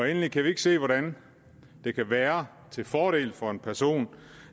endelig kan vi ikke se hvordan det kan være til fordel for en person